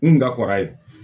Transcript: N ga kɔrɔ ye